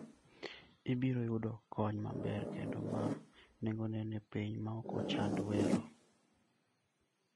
Ibiro yudo kony maber kendo ma nengone ni piny maok ochand welo.